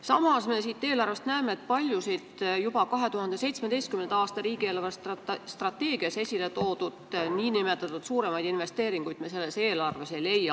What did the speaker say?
Samas me näeme eelarvest, et paljusid 2017. aastal riigi eelarvestrateegias esile toodud suuremaid investeeringuid me sellest eelarvest ei leia.